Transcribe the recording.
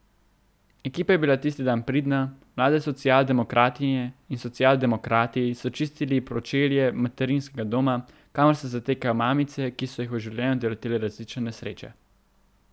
Ekipa je bila tisti dan pridna, mlade socialdemokratinje in socialdemokrati so čistili pročelje materinskega doma, kamor se zatekajo mamice, ki so jih v življenju doletele različne nesreče.